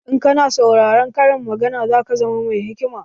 In kana saurarar karin magana za ka zama mai hikima